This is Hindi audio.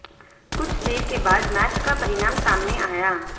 कुछ देर के बाद मैच का परिणाम सामने आया